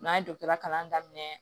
N'an ye dɔgɔtɔrɔ kalan daminɛ